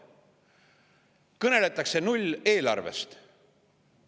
Kõneletakse nulleelarvest.